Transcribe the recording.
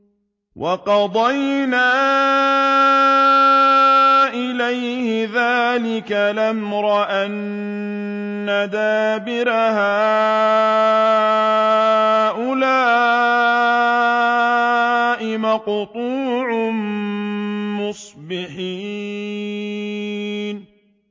وَقَضَيْنَا إِلَيْهِ ذَٰلِكَ الْأَمْرَ أَنَّ دَابِرَ هَٰؤُلَاءِ مَقْطُوعٌ مُّصْبِحِينَ